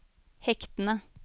hektene